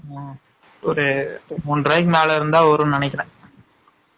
ம்ம் ஒரு மூனு ருவாய்க்கு மேல இருந்தா வரும் நினைக்ரேன்